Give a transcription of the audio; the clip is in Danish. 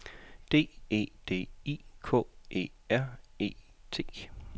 D E D I K E R E T